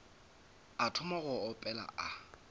a thoma go opela a